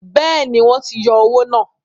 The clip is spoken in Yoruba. Bẹ́ẹ̀ni, wọ́n ti yọ owó náà.